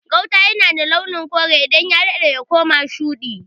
Gauta yana da launin kore, idan ya daɗe kuma y akoma shuɗi.